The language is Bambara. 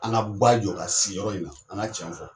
An ka guwa jɔ k'a sigi yɔrɔ in na, an ŋa tiɲɛ fɔ.